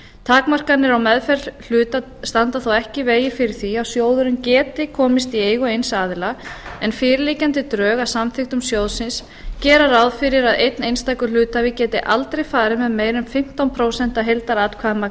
takmarkanir á meðferð hluta standa þó ekki í vegi fyrir því að sjóðurinn geti komist í eigu eins aðila en fyrirliggjandi drög að samþykktum sjóðsins gera ráð fyrir að einn einstakur hluthafi geti aldrei farið með meira en fimmtán prósent af heildaratkvæðamagni